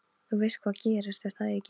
Þú veist hvað gerðist, er það ekki?